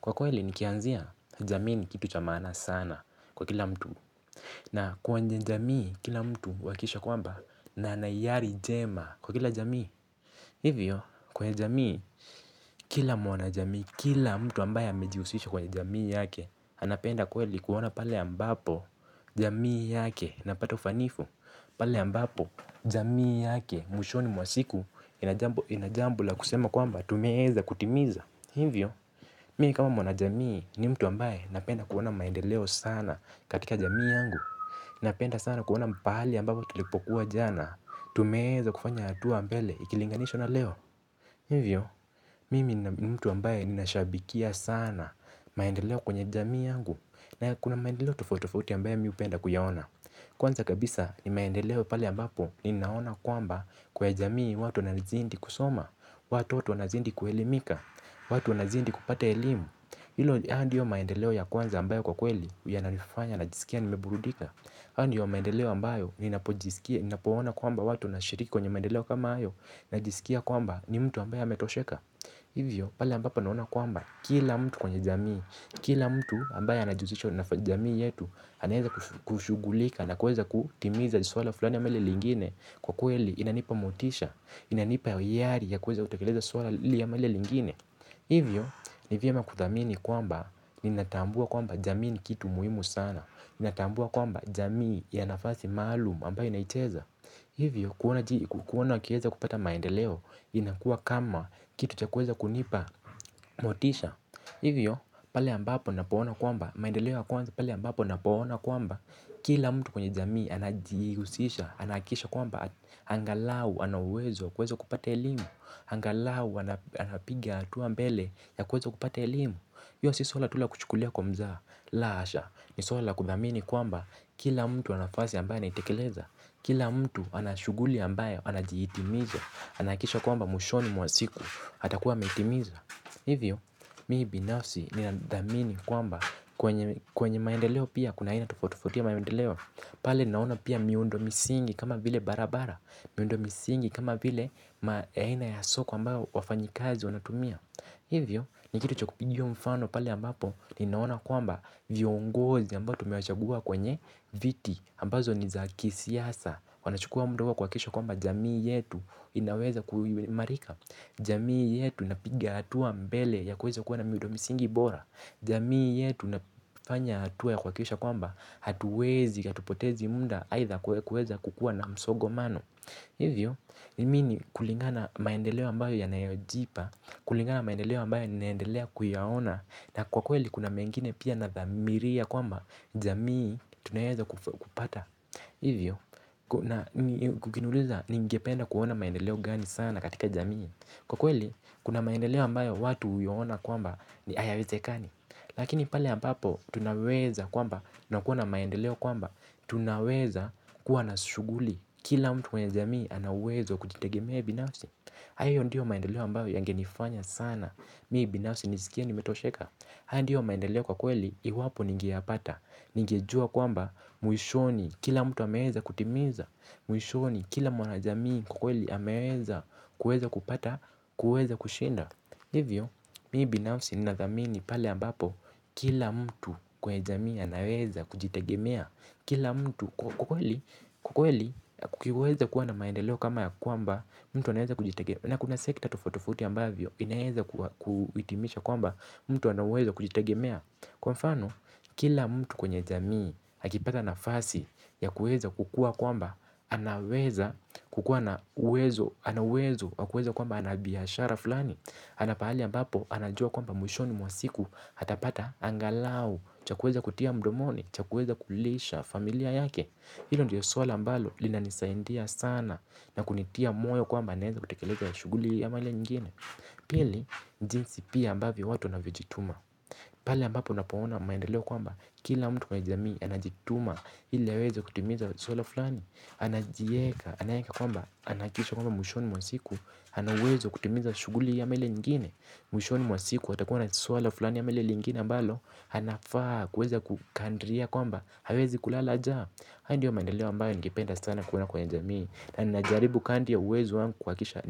Kwa kweli nikianzia jamii ni kitu cha maana sana kwa kila mtu. Na kwenye jamii kila mtu uakikisha kwamba na anaiari jema kwa kila jamii. Hivyo kwenye jamii kila mwana jamii kila mtu ambaye amejihusisha kwenye jamii yake. Anapenda kweli kuona pale ambapo jamii yake inapata ufanifu. Pale ambapo jamii yake mwishoni mwa siku ina jambo la kusema kwamba tumeeza kutimiza. Hivyo, mii kama mwana jamii ni mtu ambaye napenda kuona maendeleo sana katika jamii yangu. Napenda sana kuona pahali ambapo tulipokuwa jana. Tumeeza kufanya atua mbele ikilinganishwa na leo. Hivyo, mimi ni mtu ambaye ninashabikia sana maendeleo kwenye jamii yangu. Na kuna maendeleo tofauti tofauti ambaye mi upenda kuyaona. Kwanza kabisa ni maendeleo pale ambapo ninaona kwamba kwa jamii watu na zindi kusoma. Watoto wanazindi kuelimika, watu wanazindi kupata elimu. Hilo haya ndiyo maendeleo ya kwanza ambayo kwa kweli yananifanya najisikia nimeburudika. Haya ndiyo maendeleo ambayo ninapojiskia napoona kwamba watu wanashiriki kwenye maendeleo kama ayo najisikia kwamba ni mtu ambaye ametosheka. Hivyo pale ambapo naona kwamba kila mtu kwenye jamii kila mtu ambaye anajihusisho na jamii yetu hanaeza kushugulika na kuweza kutimiza jiswala fulani ama hilo lingine. Kwa kweli inanipa motisha. Inanipa yari ya kuweza kutekeleza suala lili ama lile lingine. Hivyo, ni vyema kuthamini kwamba ninatambua kwamba jamii ni kitu muhimu sana. Ninatambua kwamba jamii ya nafasi maalum ambaye naicheza. Hivyo, kuona wakieza kupata maendeleo. Inakua kama kitu cha kuweza kunipa motisha. Hivyo, pale ambapo napoona kwamba, maendeleo ya kwanza pale ambapo napoona kwamba kila mtu kwenye jamii anajihusisha, anahakikisha kwamba angalau anauwezo wa kueza kupata elimu. Angalau anapiga atua mbele ya kueza kupata elimu io si swala tu la kuchukulia kwa mzaha. La hasha, ni swala la kuthamini kwamba kila mtu ana nafasi ambaye anaitekeleza. Kila mtu anashuguli ambaye, anajihitimiza. Anahakikisha kwamba mwishoni mwa siku, atakuwa ameitimiza. Hivyo, mii binafsi ninadhamini kwamba kwenye maendeleo pia kuna aina tofauti tofauti ya maendeleo. Pale naona pia miundo misingi kama vile barabara miundo misingi kama vile aina ya soko ambayo wafanyikazi wanatumia. Hivyo, ni kitu cha kupigiwa mfano pale ambapo ninaona kwamba viongozi ambao tumewachagua kwenye viti ambazo ni za kisiasa, wanachukua mda kuhakikisha kwamba jamii yetu inaweza kuimarika. Jamii yetu inapiga hatua mbele ya kuweza kuwa na miudo misingi bora. Jamii yetu nafanya hatua ya kuhakikisha kwamba hatuwezi hatupotezi munda aitha kuweza kukua na msogo mano. Hivyo, nimi ni kulingana maendeleo ambayo yanayojipa. Kulingana maendeleo ambayo ni naendelea kuyaona. Na kwa kweli kuna mengine pia na dhamiria kwamba jamii tunayeza kupata. Hivyo, kukiniuliza ningependa kuona maendeleo gani sana katika jamii. Kwa kweli, kuna maendeleo ambayo watu uyaona kwamba ayawezekani. Lakini pale ambapo, tunaweza kwamba na kuona maendeleo kwamba tunaweza kuwa na shuguli, kila mtu kwenye jamii ana uwezo wa kujitegemea binafsi. Hayo ndiyo maendeleo ambayo yange nifanya sana, mi binafsi nisikie nimetosheka. Hayo ndiyo maendeleo kwa kweli, iwapo ningeyapata. Ningejua kwamba, mwishoni, kila mtu ameweza kutimiza. Mwishoni, kila mwana jamii kwa kweli ameweza kupata, kuweza kushinda. Livyo, mi binafsi ninathamini pale ambapo kila mtu kwa jamii anaweza kujitegemea kila mtu. Kwa kweli kwa kweli kukiweza kuwa na maendeleo kama ya kwamba mtu anaweza kujitegemea na kuna sekta tofauti tofauti ambavyo inaeza kuitimisha kwamba mtu anauwezo kujitegemea. Kwa mfano, kila mtu kwenye jamii akipata nafasi ya kueza kukua kwamba anaweza kukua na uwezo na uwezo, wa kueza kwamba ana biashara fulani. Anapahali ambapo, anajua kwamba mwishoni mwa siku, atapata angalau, cha kueza kutia mdomoni, cha kueza kulisha familia yake. Hilo ndio swala ambalo linanisaindia sana na kunitia moyo kwamba anaeza kutekeleza shuguli ama lile nyingine. Pili, jinsi pia ambavyo watu wanavyojituma. Pale ambapo unapoona maendeleo kwamba kila mtu kwa jamii anajituma ili aweze kutimiza swala fulani anajieka, anaeka kwamba anaakikisha kwamba mwishoni mwa siku hanauwez kutimiza shuguli hii ama lile lingine. Mwishoni mwa siku atakuwa na swala fulani ama lile lingine ambalo, anafaa kuweza kukandria kwamba hawezi kulala jaa. Hayo ndiyo maendeleo ambayo ningependa sana kuona kwenye jamii. Na najaribu kandri ya uwezo wangu kuakikisha.